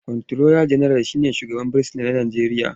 Kwanturola General shi ne shugaban fursuna na Najeriya.